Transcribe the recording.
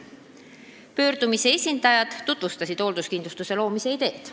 Pöördumise esindajad tutvustasid hoolduskindlustuse loomise ideed.